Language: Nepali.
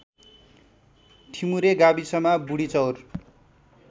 ठिमुरे गाविसमा बुढिचौर